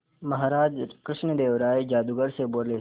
महाराज कृष्णदेव राय जादूगर से बोले